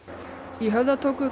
í Höfða tóku